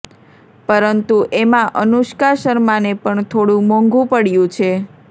પરંતુ એમા અનુષ્કા શર્માને પણ થોડુ મોંઘુ પડ્યું છે